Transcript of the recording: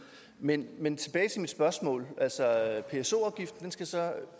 men men tilbage til mit spørgsmål altså pso afgiften skal så